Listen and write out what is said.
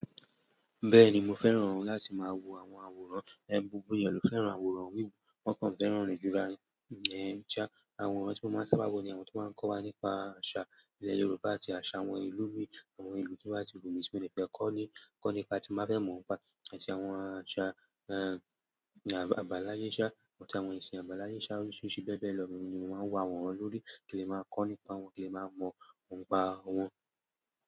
Bẹ́ẹ̀ni mo fẹ́ràn láti máa wo àwọn àwòrán, gbogbo ènìyàn ló fẹ́ràn àwòrán wíwo, wọ́n kàn fẹ́ràn re jura won lo ni sha. Àwọn àwòrán tí mo máa ń sábà wo ni àwọn tí máa ń kọ́ wa nípa àṣà ilẹ̀ Yorùbá àti àṣà àwọn ìlú mí i àwọn ìlú tí won bati wu mi, ti mo de fe ko ni kọ́ nípa tí máa fẹ́ mọ̀ wọ́n pa, àti àwọn àṣà, eeh, àbáláyé ń sá, àwọn ìsìn àbáláyé ń sá oríṣiríṣi bẹ́ẹ̀ bẹ́ẹ̀ lọ ni mo máa ń wo àwòrán lórí ki n le màá kó nípa wọn kín le màá mọ̀ nípa wọn.